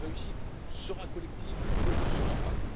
Notre réussite sera collective ou elle ne sera pas.